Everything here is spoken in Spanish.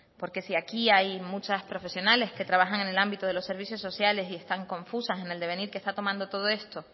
porque si aquí hay muchas profesionales que trabajan en el ámbito de los servicios sociales y están confusas en el devenir que está tomando todo esto